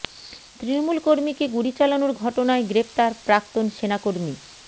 তৃণমূল কর্মীকে গুলি চালানোর ঘটনায় গ্রেফতার প্রাক্তন সেনা কর্মী